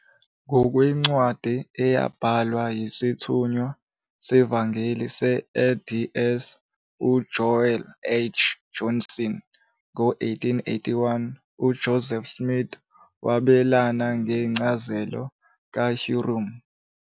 Ngokwencwadi eyabhalwa yisithunywa sevangeli se-LDS uJoel H. Johnson ngo-1881, uJoseph Smith wabelane ngencazelo kaHyrum.